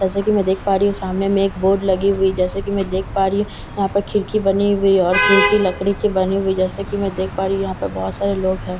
जैसे कि मैं देख पा रही हूं सामने में एक बोर्ड लगी हुई जैसे कि मैं देख पा रही हूं यहां पर खिड़की बनी हुई और खिड़की लकड़ी की बनी हुई जैसे कि मैं देख पा रही हूं यहां पे बहोत सारे लोग है।